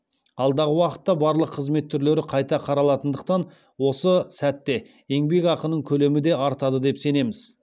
алдағы уақытта барлық қызмет түрлері қайта қаралатындықтан осы сәтте еңбекақының көлемі де артады деп сенеміз